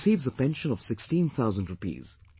He receives a pension of sixteen thousand rupees